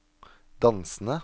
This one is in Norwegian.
dansende